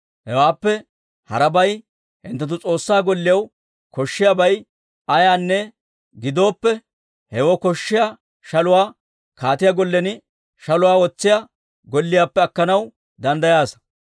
Hawaappe harabay hinttenttu S'oossaa Golliyaw koshshiyaabay ayaanne gidooppe, hewoo koshshiyaa shaluwaa kaatiyaa gollen shaluwaa wotsiyaa golliyaappe akkanaw danddayaasa.